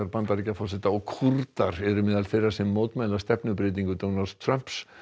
Bandaríkjaforseta og Kúrdar eru meðal þeirra sem mótmæla stefnubreytingu Donalds Trumps